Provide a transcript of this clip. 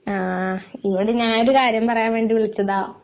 ആ ഇവിടെ ഞാൻ ഒരു കാര്യം പറയാൻ വേണ്ടി വിളിച്ചതാ